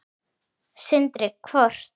Sindri: Hvort?